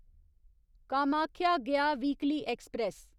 Kamakhya Gaya weekly express